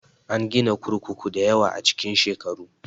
An gina kurkuku dayawa a cikin shekaru